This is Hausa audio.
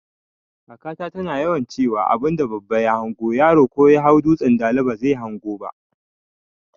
Kaka ta tana yawan ciwa abunda baba ya hango yaro ko Yahau dutsan dala bazai hango ba